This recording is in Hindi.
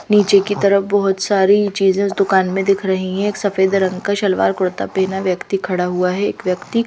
नीचे की तरफ बहुत सारी चीजें उस दुकान में दिख रही हैं एक सफेद रंग का सलवार कुर्ता पहना व्यक्ति खड़ा हुआ है एक व्यक्ति--